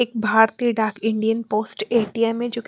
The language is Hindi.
एक भारतीय डाक इंडियन पोस्ट ए_टी_एम_ है जोकि--